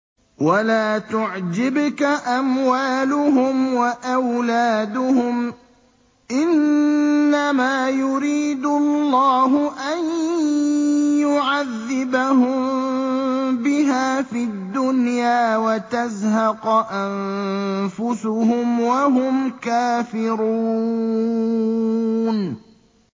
وَلَا تُعْجِبْكَ أَمْوَالُهُمْ وَأَوْلَادُهُمْ ۚ إِنَّمَا يُرِيدُ اللَّهُ أَن يُعَذِّبَهُم بِهَا فِي الدُّنْيَا وَتَزْهَقَ أَنفُسُهُمْ وَهُمْ كَافِرُونَ